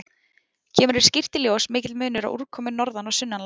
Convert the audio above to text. Kemur hér skýrt í ljós mikill munur á úrkomu norðan- og sunnanlands.